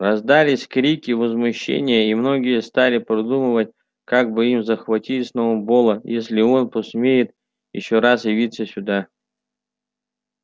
раздались крики возмущения и многие стали продумывать как бы им захватить сноуболла если он посмеет ещё раз явиться сюда